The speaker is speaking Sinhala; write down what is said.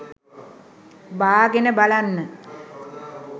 බාගෙන බලන්න.